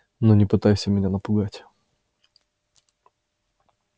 но не пытайся меня напугать